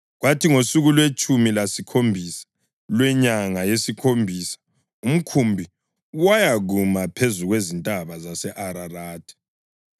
kwathi ngosuku lwetshumi lesikhombisa lwenyanga yesikhombisa umkhumbi wayakuma phezu kwezintaba zase-Ararathi.